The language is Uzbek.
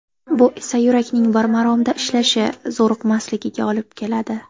Bu esa yurakning bir maromda ishlashi, zo‘riqmasligiga olib keladi.